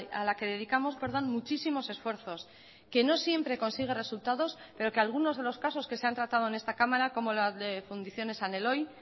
a la que dedicamos muchísimos esfuerzos que no siempre consigue resultados pero que algunos de los casos que se han tratado en esta cámara como las de fundiciones san eloy